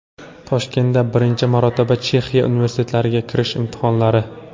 Toshkentda birinchi marotaba Chexiya universitetlariga kirish imtihonlari.